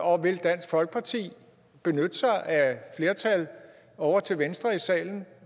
og vil dansk folkeparti benytte sig af flertal ovre til venstre i salen